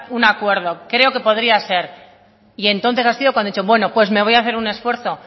un acuerdo creo que podría ser y entonces ha sido cuando he dicho bueno pues me voy hacer un esfuerzo